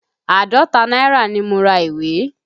Àádọ́ta náírà ni mo ra ìwé.